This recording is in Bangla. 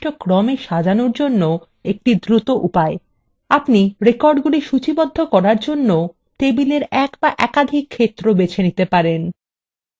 আপনি we be একাধিক ক্ষেত্র বেছে নিতে পারেন যেগুলির দ্বারা records সূচীবদ্ধ করা হবে